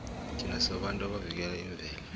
thina sibabantu abavikela imvelo